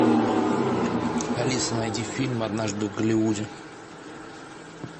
алиса найди фильм однажды в голливуде